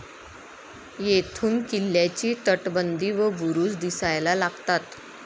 येथून किल्ल्याची तटबंदी व बुरुज दिसायला लागतात.